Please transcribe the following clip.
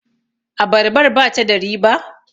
abarbar ba ta da riba?